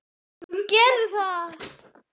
Gerðu það.